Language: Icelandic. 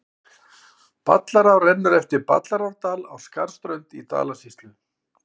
Ballará rennur eftir Ballarárdal á Skarðsströnd í Dalasýslu.